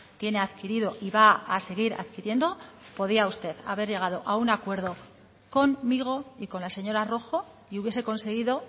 tiene adquirido y va a seguir adquiriendo podría usted haber llegado a un acuerdo conmigo y con la señora rojo y hubiese conseguido